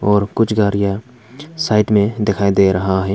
और कुछ गाड़ियां साइड में दिखाई दे रहा है।